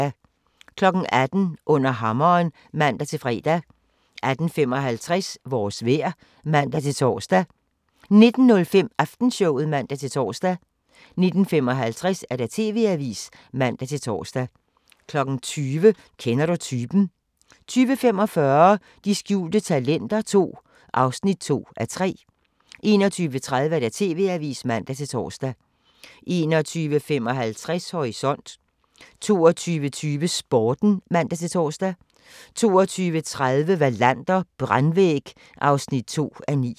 18:00: Under hammeren (man-fre) 18:55: Vores vejr (man-tor) 19:05: Aftenshowet (man-tor) 19:55: TV-avisen (man-tor) 20:00: Kender du typen? 20:45: De skjulte talenter II (2:3) 21:30: TV-avisen (man-tor) 21:55: Horisont 22:20: Sporten (man-tor) 22:30: Wallander: Brandvæg (2:9)